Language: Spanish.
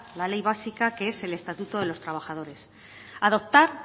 la ley básica que es el estatuto de los trabajadores adoptar